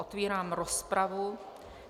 Otvírám rozpravu.